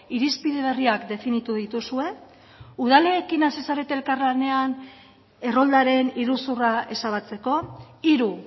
irizpide berriak definitu dituzue udalekin hasi zarete elkarlanean erroldaren iruzurra ezabatzeko hiru